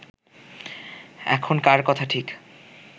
এখন কার কথা ঠিক